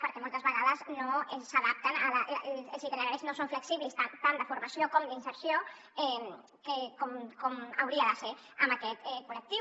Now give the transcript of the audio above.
perquè moltes vegades no s’adapten els itineraris no són flexibles tant de formació com d’inserció com ho haurien de ser amb aquest col·lectiu